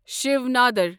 شیو نادر